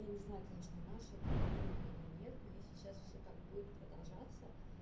я не знаю конечно наши это придумали или нет но если сейчас все так будет продолжаться